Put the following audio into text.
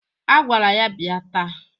A gwara ya bịa taa.